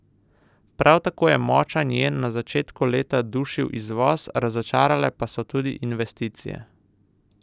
Prav tako je močan jen na začetku leta dušil izvoz, razočarale pa so tudi investicije.